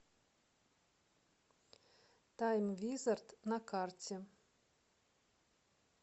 тайм визард на карте